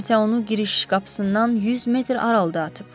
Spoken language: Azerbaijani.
Kimsə onu giriş qapısından 100 metr aralı atıb.